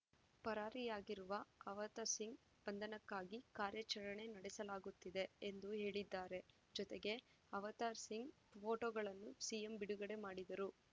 ಪರಾರಿಯಾಗಿರುವ ಅವತಾರ್‌ಸಿಂಗ್‌ ಬಂಧನಕ್ಕಾಗಿ ಕಾರ್ಯಾಚರಣೆ ನಡೆಸಲಾಗುತ್ತಿದೆ ಎಂದು ಹೇಳಿದ್ದಾರೆ ಜೊತೆಗೆ ಅವತಾರ್‌ಸಿಂಗ್‌ ಫೋಟೋಗಳನ್ನೂ ಸಿಎಂ ಬಿಡುಗಡೆ ಮಾಡಿದರು